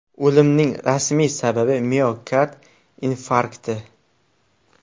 O‘limning rasmiy sababi miokard infarkti.